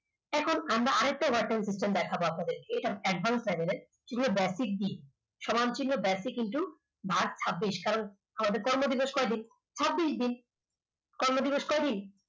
এখন আমরা আর একটা version system দেখাবো আপনাদেরকে এটা একবার এটা basic দিই সমান চিহ্ন basic into march ছাব্বিশ কারণ আমাদের কর্ম দিবস কয়দিন ছাব্বিশ দিন কর্ম দিবস কয়দিন